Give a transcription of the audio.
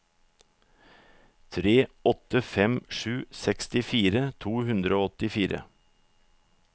tre åtte fem sju sekstifire to hundre og åttifire